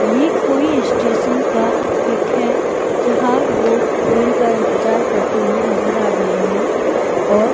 ये कोई इस्टेशन का पिक है जहां लोग ट्रेन का इंतजार करते हुए नजर आ रहे हैं और--